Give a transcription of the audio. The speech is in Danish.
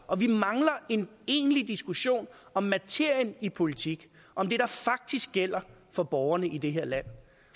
og vi mangler en egentlig diskussion om materien i politik om det der faktisk gælder for borgerne i det her land